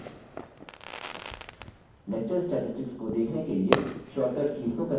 lecture statistics को देखने के लिए shortcut कीज़ को configure करें